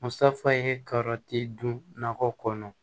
Musafa ye karɔti dun nakɔ kɔnɔ